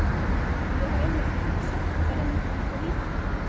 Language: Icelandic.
Og ég var einmitt að hugsa, hverjir myndu taka vítin?